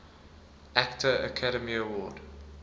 actor academy award